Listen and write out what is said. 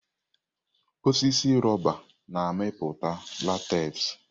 Osisi rọba na-amịpụta látez.